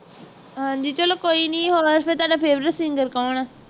ਹਾਂਜੀ ਚੱਲੋ ਕੋਈ ਨੀ ਹੋਰ ਫਿਰ ਤੁਹਾਡਾ favorite singer ਕੌਣ ਹੈ?